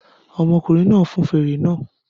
Ọmọkùnrin náà fọn fèrè náà